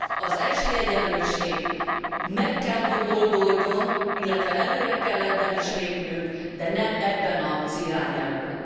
Az esélyegyenlőség meg kell, hogy oldódjon, illetve előre kell ebben is lépnünk, de nem ebben az irányelvben.